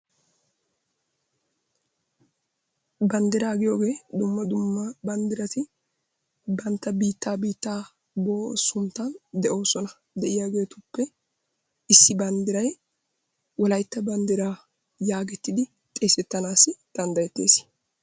Banddiraa giyogee dumma dumma banddirati bantta biittaa biittaa giyo sunttan de'oosona. De'iyageetuppe issi banddiray wolaytta banddiraa yaagettidi xeesettanaassi danddayettees.